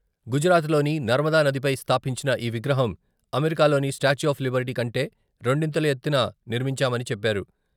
గుజరాత్లోని నర్మదా నదిపై స్థాపించిన ఈ విగ్రహం అమెరికాలోని స్టాట్యూ ఆఫ్ లిబర్టీ కంటే రెండింతలు ఎత్తున నిర్మించామని చెప్పారు.